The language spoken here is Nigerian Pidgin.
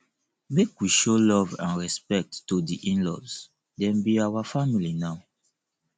make we show love and respect to di inlaws dem be our family now